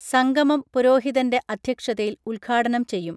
സംഗമം പുരോഹിതന്റെ അധ്യക്ഷതയിൽ ഉദ്ഘാടനം ചെയ്യും